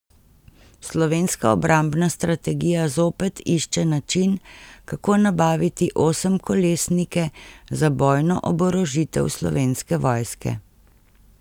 Slovenska obrambna strategija zopet išče način, kako nabaviti osemkolesnike za bojno oborožitev slovenske vojske.